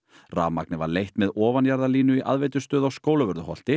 rafmagnið var leitt með ofanjarðarlínu í aðveitustöð á Skólavörðuholti